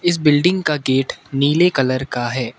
इस बिल्डिंग का गेट नीले कलर का है।